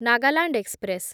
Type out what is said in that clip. Nagaland express